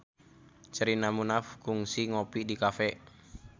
Sherina Munaf kungsi ngopi di cafe